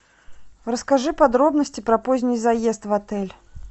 расскажи подробности про поздний заезд в отель